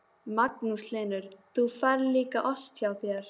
Magnús Hlynur: Og hún fær líka ost hjá þér?